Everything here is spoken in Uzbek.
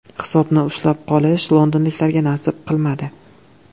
Hisobni ushlab qolish londonliklarga nasib qilmadi.